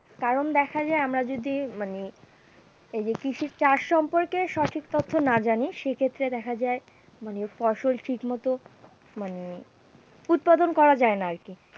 কারণ দেখা যায় আমরা যদি মানে এই যে কৃষি চাষ সম্পর্কে সঠিক তথ্য না জানি সেইক্ষেত্রে দেখা যায় মানে ফসল ঠিকমতো মানে উৎপাদন করা যায় না আর কি।